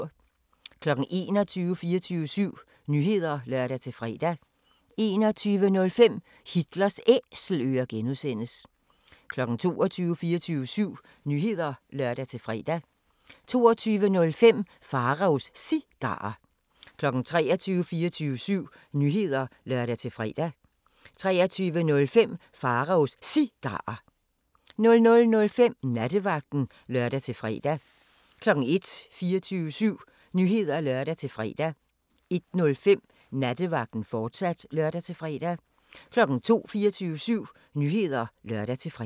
21:00: 24syv Nyheder (lør-fre) 21:05: Hitlers Æselører (G) 22:00: 24syv Nyheder (lør-fre) 22:05: Pharaos Cigarer 23:00: 24syv Nyheder (lør-fre) 23:05: Pharaos Cigarer 00:05: Nattevagten (lør-fre) 01:00: 24syv Nyheder (lør-fre) 01:05: Nattevagten, fortsat (lør-fre) 02:00: 24syv Nyheder (lør-fre)